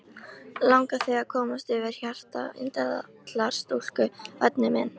Langar þig að komast yfir hjarta indællar stúlku, væni minn?